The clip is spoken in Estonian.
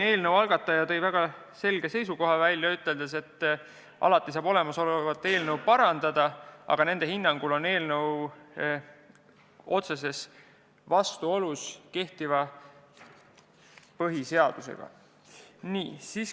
Eelnõu algataja tõi välja väga selge seisukoha, üteldes, et alati saab olemasolevat eelnõu parandada, aga nende hinnangul on tegu otsese vastuoluga kehtiva põhiseadusega.